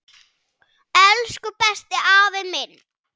Elsku besti afi minn.